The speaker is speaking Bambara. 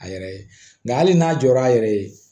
A yɛrɛ ye nka hali n'a jɔra a yɛrɛ ye